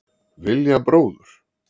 Vilja bróður